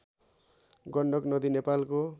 गण्डक नदी नेपालको